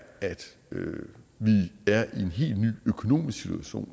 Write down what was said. at vi er i en helt ny økonomisk situation